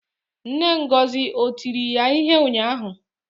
Nne Ngozi o tiri ya ihe ụnyahụ?